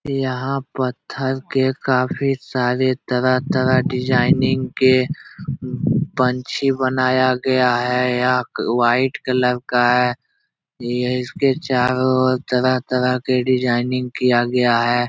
यहाँ पत्थर के काफी सारे तरह-तरह डिजाइनिंग के पंछी बनाया गया है। या वाइट कलर का है। यह इसके चारो और तरह-तरह के डिजाइनिंग किया गया है।